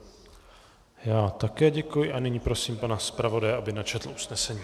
Já také děkuji a nyní prosím pana zpravodaje, aby načetl usnesení.